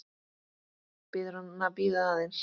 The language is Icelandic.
Biður hann að bíða aðeins.